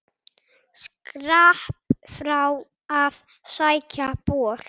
Skrapp frá að sækja bor.